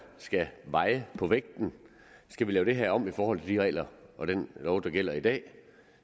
skal veje på vægten skal vi lave det her om i forhold til de regler og den lov der gælder i dag